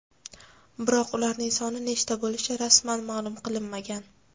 Biroq ularning soni nechta bo‘lishi rasman ma’lum qilinmagan.